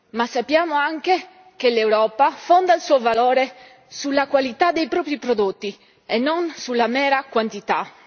ma sappiamo anche che l'Europa fonda il suo valore sulla qualità dei propri prodotti e non sulla mera quantità.